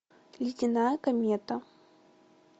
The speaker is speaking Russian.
ледяная комета